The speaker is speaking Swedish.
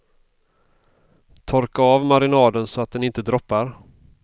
Torka av marinaden så den inte droppar.